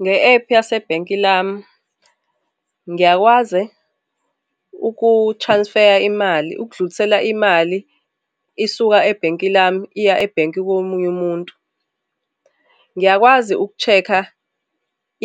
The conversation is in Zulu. Nge-ephu yasebhenki lami ngiyakwazi uku-transfer-ya imali ukudlulisela imali, isuka ebhenki lami iya ebhenki komunye umuntu, ngiyakwazi uku-check-a